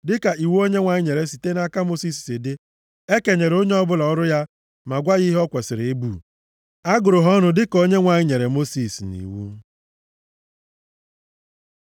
Dịka iwu Onyenwe anyị nyere site nʼaka Mosis si dị, e kenyere onye ọbụla ọrụ ya ma gwa ya ihe o kwesiri ibu. A gụrụ ha ọnụ dịka Onyenwe anyị nyere Mosis nʼiwu.